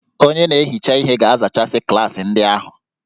Onye na-ehicha ihe ga-azachasị klaasị ndị ahụ